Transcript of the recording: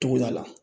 Tugu a la